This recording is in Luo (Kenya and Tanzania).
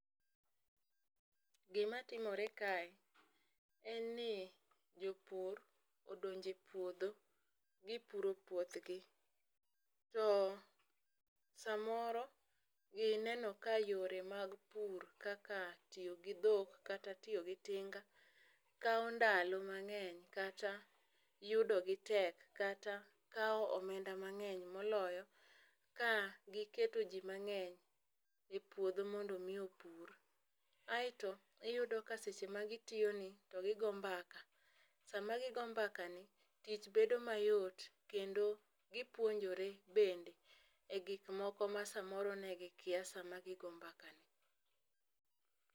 Gimatimore kae en ni jopur odonje puodho gipuro puothgi .To samoro gineno ka yore mag pur kaka tiyo gi dhok kata tiyo gi tinga kawo ndalo mang'eny kata yudo gi tek, kata kawo omenda mang'eny moloyo ka giketo jii mang'eny e puodho mondo mi opur. Kaeto iyudo ka seche magitiyo ni to gigo mbaka sama gigo mbaka ni tich bedo mayot kendo gipuonjore bende e gik moko ma samoro ne gikia sama gigo mbaka ni.